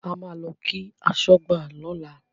A máa lọ kí aṣọ́gbà lọ́la.